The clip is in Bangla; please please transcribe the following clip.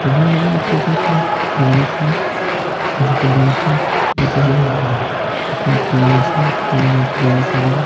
এখানে দেখা যাচ্ছে এটি একটি জংশন হাজীপুর জংশন এটিতে ট্রেন আসেট্রেন যাওয়া আসা করে।